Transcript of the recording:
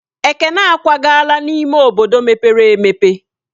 Ekene akwagala n'ime obodo mepere emepe.